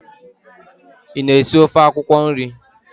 Ị na-esi ofe akwụkwọ nri?